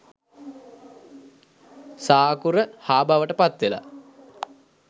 "ස" අකුර "හ" බවට පත් වෙලා